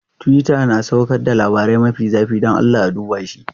Twitter na saukar da labarai mafi zafi, don Allah a duba shi.